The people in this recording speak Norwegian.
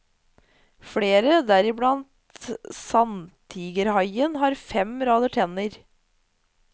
Flere, deriblant sandtigerhaien, har fem rader tenner.